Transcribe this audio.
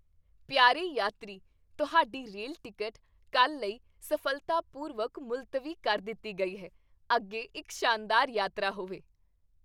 ਪਿਆਰੇ ਯਾਤਰੀ, ਤੁਹਾਡੀ ਰੇਲ ਟਿਕਟ ਕੱਲ੍ਹ ਲਈ ਸਫ਼ਲਤਾਪੂਰਵਕ ਮੁਲਤਵੀ ਕਰ ਦਿੱਤੀ ਗਈ ਹੈ। ਅੱਗੇ ਇੱਕ ਸ਼ਾਨਦਾਰ ਯਾਤਰਾ ਹੋਵੇ!